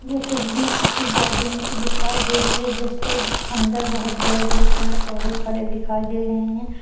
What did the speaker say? ये तस्वीर किसी गार्डन की दिखाई दे रहे हैं जिसके अंदर बहुत बड़े बड़े पेड़ पौधे खड़े दिखाई दे रहे हैं।